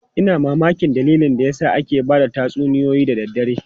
Ina mamakin dalilin da yasa ake ba da tatsuniyoyi da daddare.